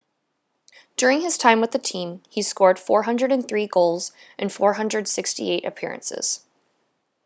during his time with the team he scored 403 goals in 468 appearances